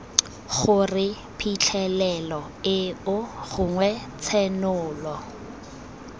gore phitlhelelo eo gongwe tshenolo